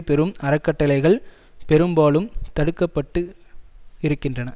பெறும் அறக்கட்டளைகள் பெரும்பாலும் தடுக்கப்பட்டுஇருக்கின்றன